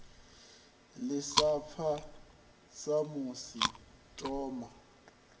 ḽi sa fa samusi mboma